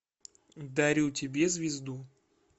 дарю тебе звезду